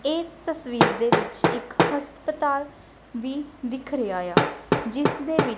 ਇਹ ਤਸਵੀਰ ਦੇ ਵਿੱਚ ਇੱਕ ਹਸਪਤਾਲ ਵੀ ਦਿੱਖ ਰਿਹਾ ਆ ਜਿਸ ਦੇ ਵਿੱਚ--